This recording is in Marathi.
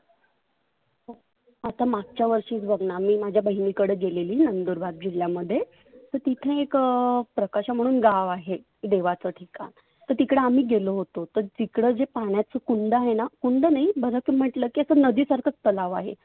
आता मागच्या वर्षीच बघना मी माझ्या बहिणीकड गेलेली नंदुरबार जिल्ह्यामध्ये तर तिथे एक प्रकाशा म्हणून गाव आहे. देवाच ठिकाण तर तिकड आम्ही गेलो होतोत. तर तिकड जे पाण्याच कुंड आहेना, कुंड नाही मग म्हटल की असं नदी सारखाच तलाव आहे.